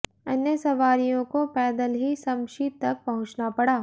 अन्य सवारियों को पैदल ही शमशी तक पहुंचना पड़ा